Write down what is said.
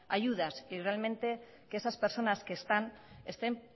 ayudas y que realmente esas personas que están estén